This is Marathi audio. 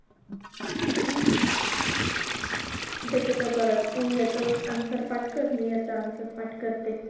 हम्म त्याच्यातच परत तू याचं answer पाठ कर, मी याचं answer पाठ करते.